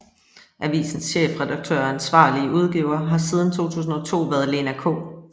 Avisens chefredaktør og ansvarlige udgiver har siden 2002 været Lena K